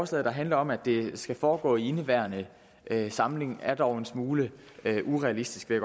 sådan handler om at det skal foregå i indeværende samling er dog en smule urealistisk vil